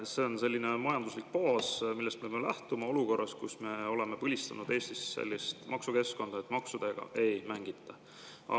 See on selline majanduslik baas, millest me peame lähtuma olukorras, kus me oleme põlistanud Eestis sellist maksukeskkonda, kus maksudega ei mängita.